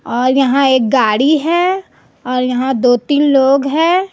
और यहां एक गाड़ी है और यहां दो तीन लोग हैं।